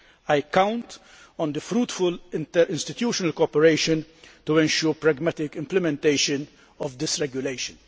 I count on fruitful interinstitutional cooperation to ensure the pragmatic implementation of this regulation.